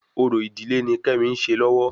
Orò ìdílé ni kemi ń ṣe lọ́wọ́